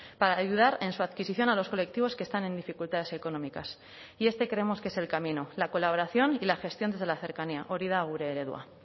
para ayudar en su adquisición a los colectivos que están en dificultades económicas y este creemos que es el camino la colaboración y la gestión desde la cercanía hori da gure eredua